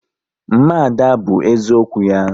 Mma Ada bụ eziokwu ya